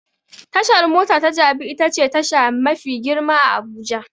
Tashar mota ta Jabi itace tasha mafi girma a Abuja.